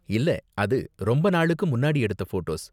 இல்ல, அது ரொம்ப நாளுக்கு முன்னாடி எடுத்த ஃபோட்டோஸ்.